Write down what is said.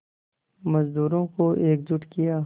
मज़दूरों को एकजुट किया